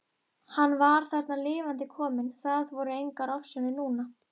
Hann var þarna lifandi kominn, það voru engar ofsjónir núna!